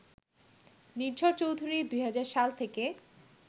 নির্ঝর চৌধুরী ২০০০ সাল থেকে